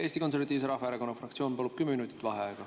Eesti Konservatiivse Rahvaerakonna fraktsioon palub kümme minutit vaheaega.